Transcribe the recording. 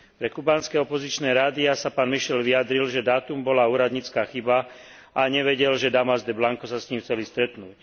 Pre kubánske opozičné rádiá sa pán Michel vyjadril, že dátum bola úradnícka chyba a nevedel, že Damas de Blanco sa s ním chceli stretnúť.